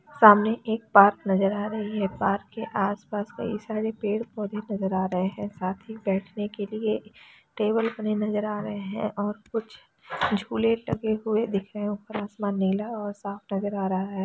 सामने एक पार्क नज़र आ रही है पार्क के आस पास कई सारे पेड़ पौधे नज़र आ रहैं हैं साथ ही बैठने के लिए टेबल खड़े नज़र आ रहैं है और कुछ झूले टंगे हुए दिख रहैं हैं और आसमान नीला और साफ़ नजर आ रहा है।